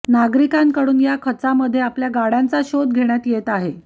नागरिकांकडून या खचामध्ये आपल्या गाड्यांचा शोध घेण्यात येत आहे